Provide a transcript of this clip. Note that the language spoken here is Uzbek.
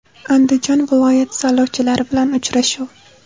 Andijon viloyati saylovchilari bilan uchrashuv.